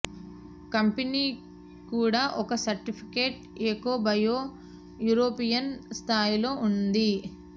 company కూడా ఒక certificate eco bio European స్థాయిలో ఉంది